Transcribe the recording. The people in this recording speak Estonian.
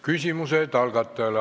Küsimused algatajale.